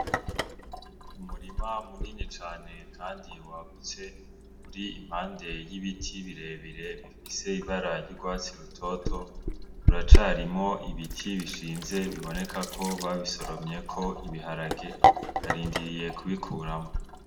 Umurima munini cane, kandi wagutse uri impande y'ibiti birebire bifise ibarary'urwatsi rutoto uracarimwo ibiti bishinze biboneka ko babisoromye ko ibiharage arindiriye kubikuramwo.